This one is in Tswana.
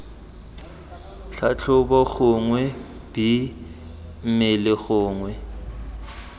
tlhatlhobo gongwe b mmele gongwe